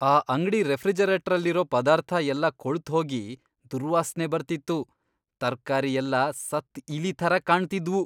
ಆ ಅಂಗ್ಡಿ ರೆಫ್ರಿಜರೇಟ್ರಲ್ಲಿರೋ ಪದಾರ್ಥ ಎಲ್ಲ ಕೊಳ್ತ್ ಹೋಗಿ ದುರ್ವಾಸ್ನೆ ಬರ್ತಿತ್ತು.. ತರ್ಕಾರಿ ಎಲ್ಲ ಸತ್ತ್ ಇಲಿ ಥರ ಕಾಣ್ತಿದ್ವು.